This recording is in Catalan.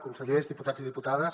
consellers diputats i diputades